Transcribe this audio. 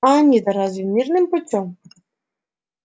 а они-то разве мирным путём